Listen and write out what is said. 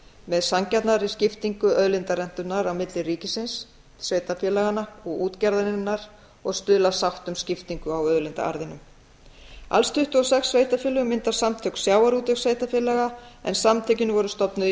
með sanngjarnari skiptingu auðlindarentunnar á milli ríkisins sveitarfélaganna og útgerðarinnar og stuðla að sátt um skiptingu á auðlindaarðinum alls tuttugu og sex sveitarfélög mynda samtök sjávarútvegssveitarfélaga en samtökin voru stofnuð í